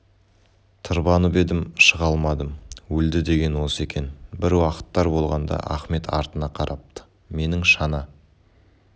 тырбанып едім шыға алмадым өлді деген осы екен бір уақыттар болғанда ахмет артына қарапты менің шана